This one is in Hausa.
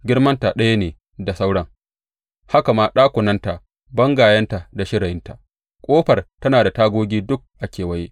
Girmanta ɗaya ne da sauran, Haka ma ɗakunanta, bangayenta da shirayinta, ƙofar tana da tagogi duk a kewaye.